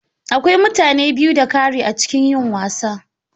Akwai mutane biyu da ƙari a cikin yin wasa.